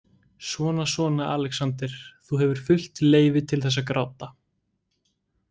Svona svona, Alexander, þú hefur fullt leyfi til þess að gráta